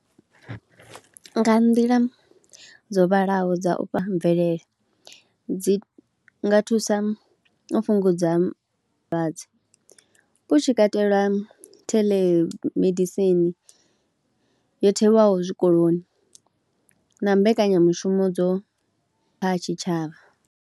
Nga nḓila dzo vhalaho dza u fha mvelele, dzi nga thusa u fhungudza vhulwadze hu tshi katelwa tele medisini yo thewaho zwikoloni na mbekanyamushumo dzo kha tshitshavha.